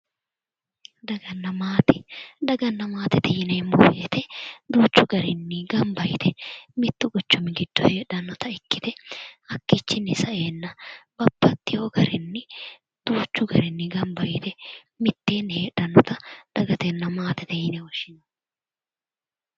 Daganna maate, daganna maatete yinneemmo woyte duuchu garinni gamba yite mitu quchumi giddo heedhannotta ikkite hakkichinni saenna babbaxxewo garinni duuchu garinni gamba yite mitteenni heedhannotta dagatenna maatete yinne woshshinanni.